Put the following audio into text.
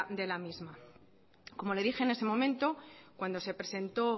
de la misma como le dije en ese momento cuando se presentó